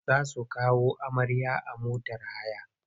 Za su kawo amarya a motar haya.